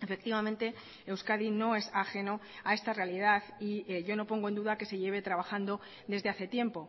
efectivamente euskadi no es ajeno a esta realidad y yo no pongo en duda que se lleve trabajando desde hace tiempo